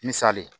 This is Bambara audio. Misali ye